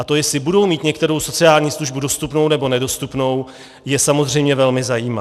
A to, jestli budou mít některou sociální službu dostupnou, nebo nedostupnou, je samozřejmě velmi zajímá.